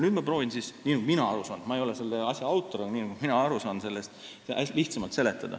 Nüüd ma proovin seda lihtsamalt seletada – nii nagu mina sellest aru saan, sest ma ei ole selle asja autor.